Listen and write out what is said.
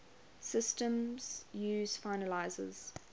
systems use finalizers